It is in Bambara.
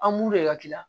An b'u de ka kila